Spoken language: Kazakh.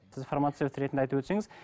сіз информация ретінде айтып өтсеңіз